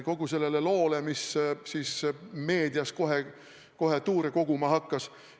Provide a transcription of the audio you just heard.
–, kogu sellele loole, mis meedias kohe kohe tuure koguma hakkas.